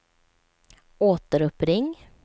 återuppring